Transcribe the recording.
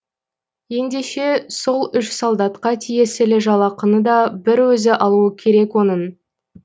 ендеше сол үш солдатқа тиесілі жалақыны да бір өзі алуы керек оның